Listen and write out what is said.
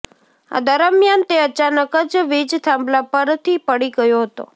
આ દરમિયાન તે અચાનક જ વીજ થાંભલા પરથી પડી ગયો હતો